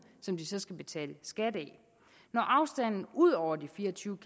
som de så skal betale skat af når afstanden ud over de fire og tyve